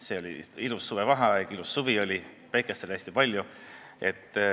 See oli ilus suvevaheaeg, ilus suvi oli, päikest oli hästi palju.